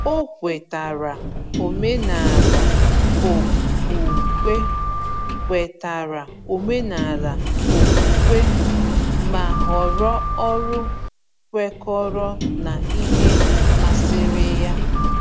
O kwetara omenala okpukpe, kwetara omenala okpukpe, ma họrọ ọrụ kwekọrọ na ihe masịrị ya.